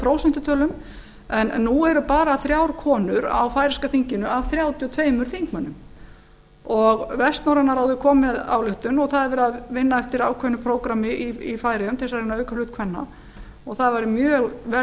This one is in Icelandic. prósentutölu nú eru bara þrjár konur á færeyska þinginu af þrjátíu og tveimur þingmönnum vestnorræna ráðið kom með ályktun og það er verið að vinna eftir ákveðnu prógrammi í færeyjum til þess að reyna að auka hlut kvenna og það væri mjög vel